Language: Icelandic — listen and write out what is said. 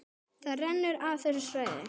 Það rennur af þessu svæði.